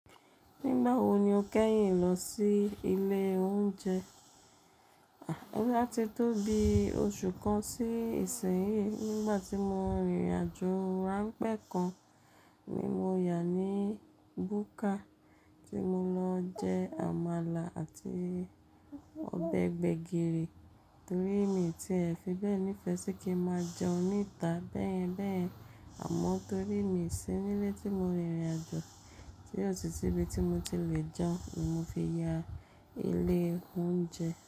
Nígbà wo ni o kẹ́yìn lọ sí ilé oúnjẹ? Àti tó bi oṣù kan sí ìsínyìí nígbà tí mo rìnrìn àjò ránpẹ́ kan ni mo yà ní búkà tí mo lọ jẹ́ àmàlà àti ọbẹ̀ gbẹ̀gìrì torí mi tí ẹ̀ fi bẹ́ẹ̀ nífẹ̀ẹ́ sí kí máa jẹun níta bẹ́ẹ̀ bẹ́ẹ̀ àmọ́ torí mi sì nílé tí mo rìnrìn àjò tí ó sì ti ibi tí mo ti lè jẹun ni mo fi yà ilé oúnjẹ.